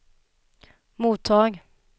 mottag